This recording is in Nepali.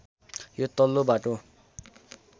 यो तल्लो बाटो